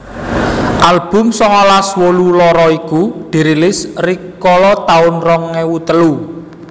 Album songolas wolu loro iku dirilis rikala taun rong ewu telu